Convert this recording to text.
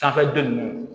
Sanfɛ don nunnu